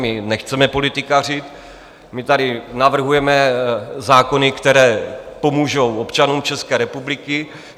My nechceme politikařit, my tady navrhujeme zákony, které pomůžou občanům České republiky.